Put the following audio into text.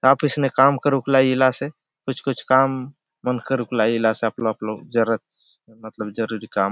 ऑफिस ने काम करूक लाय इला से कुछ - कुछ काम मन करूक लाय इला से आपलो - आपलो जरुरत मतलब जरूरी काम --